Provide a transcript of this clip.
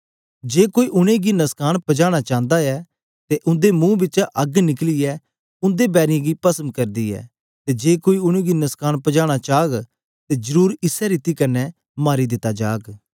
जे कोई उनेंगी नुस्कान पजाना चांदा ऐ ते उंदे मुंह बिचा अग्ग निकलियै उंदे बैरीयें गी पसम करदी ऐ ते जे कोई उनेंगी नुस्कान पजाना चाग ते जरुर इसै रीति कन्ने मारी दिता जाग